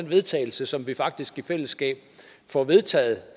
vedtagelse som vi faktisk i fællesskab får vedtaget